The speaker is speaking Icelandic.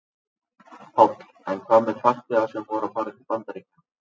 Páll: En hvað með farþega sem voru að fara til Bandaríkjanna?